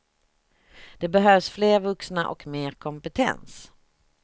Det behövs fler vuxna och mer kompetens.